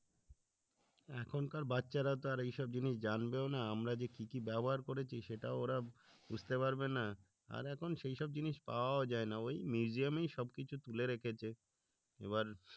এখনকার বাচ্চারা তো এই সব জিনিস যাবেও না আমরা যে কি কি ব্যবহার করেছি সেটাও ওরা বুঝতে পারবে না, আর এখন সেই সব জিনিস পাওয়াও যায় না ওই museum এই সব কিছু তুলে রেখেছে। এবার